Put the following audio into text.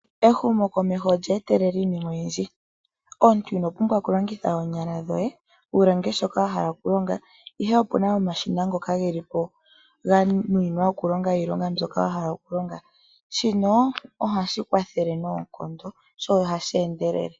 Ehumo komeho olya etelela iinima oyindji, omuntu ino pumbwa oku longitha oonyala wu longe shoka wahala oku longa, ihe opuna omashina ngoka ge li po ga nunwina oku longa iilonga mbyoka wahala okulonga shino ohashi kwathele noonkondo sho ohashi endelele.